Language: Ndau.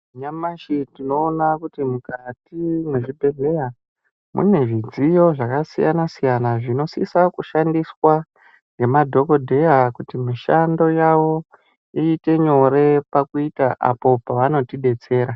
Nyamashi tinoona kuti mukati mwezvibhehleya mune zvidziyo zvakasiyana-siyana zvinosisa kushandiwa nemadhogodheya kuti mishando yavo iite nyore pakuita apo pavanotidetsera.